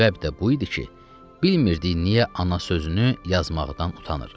Səbəb də bu idi ki, bilmirdik niyə ana sözünü yazmaqdan utanırıq.